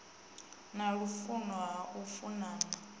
na lufuno ha u funana